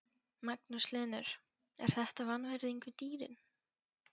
Magnús Hlynur: Er þetta vanvirðing við dýrin?